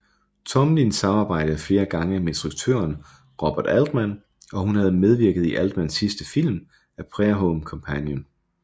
Tomlin samarbejdede flere gange med instruktøren Robert Altman og hun havde medvirket i Altmans sidste film A Prairie Home Companion